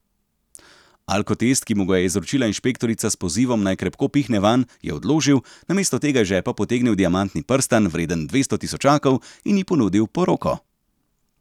Alkotest, ki mu ga je izročila inšpektorica s pozivom, naj krepko pihne vanj, je odložil, namesto tega iz žepa potegnil diamantni prstan, vreden dvesto tisočakov, in ji ponudil poroko.